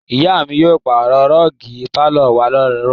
Ìyá mi yóò pàrọ̀ rọ́ọ́gì pálọ̀ wa láàárọ̀ yìí.